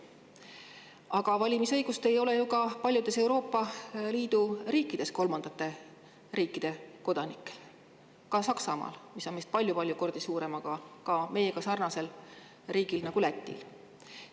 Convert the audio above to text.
Aga kolmandate riikide kodanikel ei ole valimisõigust ju ka paljudes Euroopa Liidu riikides – ka Saksamaal, mis on meist palju-palju kordi suurem, samuti meiega sarnases riigis Lätis.